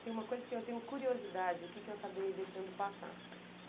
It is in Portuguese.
Tem uma coisa que eu tenho curiosidade aqui que eu acabei deixando passar.